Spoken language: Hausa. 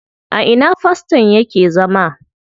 A ina faston yake zama?